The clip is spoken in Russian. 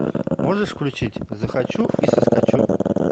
можешь включить захочу и соскочу